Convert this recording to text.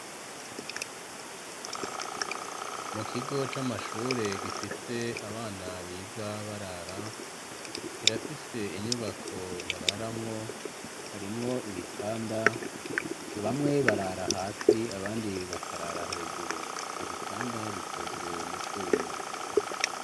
Mu kigo c'amashure gifise abana biga barara ,kirafise inyubako bararamwo harimwo ibitanda ,bamwe barara hasi abandi bakarara hejuru, ivyo bitanda bikozwe mu vyuma.